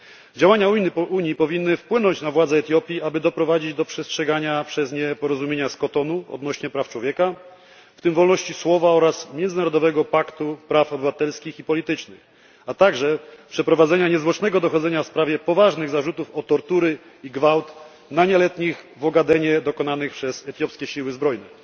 Działania Unii powinny wpłynąć na władze Etiopii, aby doprowadzić do przestrzegania przez nie umowy z Kotonu odnośnie praw człowieka, w tym wolności słowa, oraz Międzynarodowego paktu praw obywatelskich i politycznych, a także przeprowadzenia niezwłocznego dochodzenia w sprawie poważnych zarzutów o tortury i gwałt na nieletnich w Ogadenie dokonanych przez etiopskie siły zbrojne.